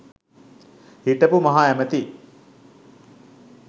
හිටපු මහ ඇමති